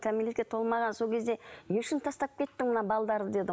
кәмелетке толмаған сол кезде не үшін тастап кеттің мына дедім